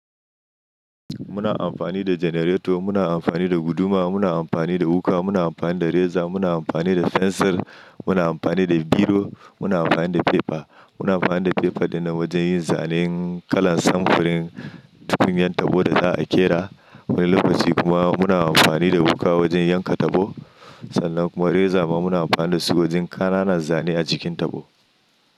Muna amfani da janareto, muna amfani da guduma, muna amfani da wuƙa, muna amfani da reza, muna amfani da fensir, muna amfani da biro, muna amfani da fefa. Muna amfani da fefa dinnan wajen yin zane kala samfurin, tufin ƴan tabo da za a ƙera. Wani lokaci kuma muna amfani da wuƙa wajen yanka tabo sannan kuma reza muna amfani da su wajen ƙananan zane a jikin tabo.